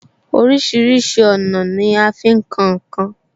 Orísìírísìí ọ̀nà ni a fi ń kan ǹ kan